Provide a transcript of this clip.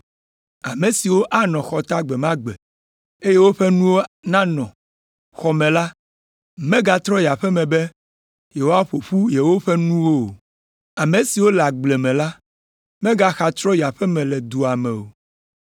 “Ame siwo anɔ xɔta gbe ma gbe, eye woƒe nuwo nanɔ xɔ me la megatrɔ yi aƒe me be yewoaƒo ƒu yewoƒe nuwo o. Ame siwo le agble la megaxa trɔ yi aƒe me le dua me o.